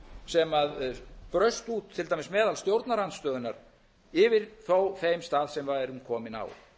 sem braust út til dæmis meðal stjórnarandstöðunnar yfir þó þeim stað sem við værum komin á